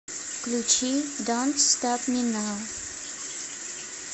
включи донт стоп ми нау